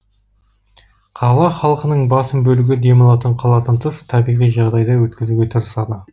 қала халқының басым бөлігі демалатын қаладан тыс табиғи жағдайда өткізуге тырысады